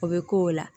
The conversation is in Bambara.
O bɛ k'o la